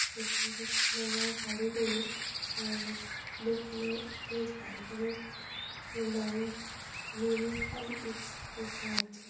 এখান থেকে মনে হয় গাড়িগুলো অম দোকানে-তে যায় এখানে নাইনটি মিনিট বাই এক্স লেখা আছে।